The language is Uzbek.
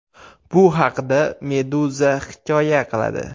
Bu haqda Meduza hikoya qiladi .